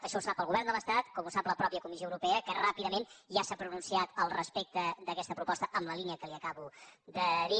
això ho sap el govern de l’estat com ho sap la mateixa comissió europea que ràpidament ja s’ha pronunciat al respecte d’aquesta proposta en la línia que li acabo de dir